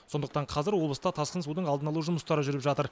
сондықтан қазір облыста тасқын судың алдын алу жұмыстары жүріп жатыр